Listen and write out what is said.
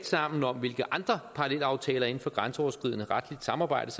sammen om hvilke andre parallelaftaler inden for grænseoverskridende retligt samarbejde